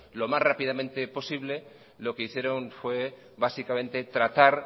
lo más rápidamente posible lo que hicieron fue básicamente tratar